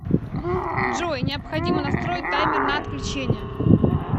джой необходимо настроить таймер на отключение